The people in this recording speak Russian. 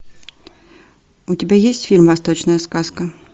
у тебя есть фильм восточная сказка